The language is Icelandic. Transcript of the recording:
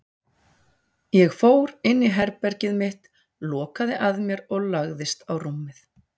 Ég fór inn í herbergið mitt, lokaði að mér og lagðist á rúmið.